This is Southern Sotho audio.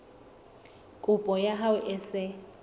kopo ya hao e se